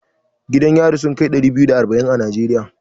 Gidan yari sun kai ɗari biyu da arba'in a Najeriya.